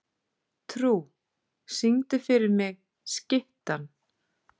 Trú, syngdu fyrir mig „Skyttan“.